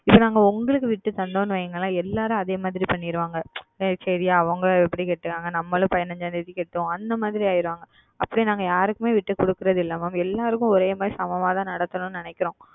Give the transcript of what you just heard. இது நாங்கள் உங்களுக்கு விட்டு கொடுத்தோம் என்று வையுங்களேன் எல்லாரும் அதே மாதிரி செய்து விடுவார்கள் சரி அவர்கள் இப்படி செலுத்துகிறார்கள் நம்மளும் இப்படி பதினைந்தாம் தேதி செலுத்துவோம் அந்த மாதிரி ஆகி விடுவார்கள் அப்படி நாங்கள் யாருக்குமே விட்டு தருவதில்லை Mam எல்லாருக்கும் ஒரே மாதிரி சமமாக தான் நடத்த வேண்டும் என்று நினைக்கிறோம்